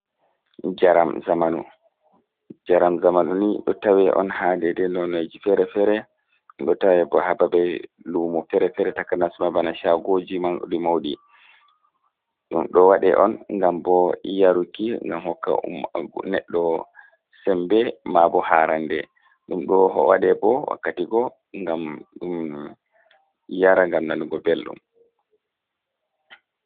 "Njaram zamanu"Njaram zamunu ni ɗo tawe on ha dede lonaji ferefere ɗum ɗo tawe bo ha babe lumo fere fere takanas ma bana shagoji mauɗi mauɗi ɗum ɗo waɗe on ngam bo yaruki ngam hokka neɗɗo heɓa sembe ma bo harande ɗum ɗo waɗe bo wakkati go ngam ɗum yara ngam nanugo belɗum.